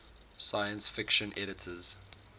science fiction editors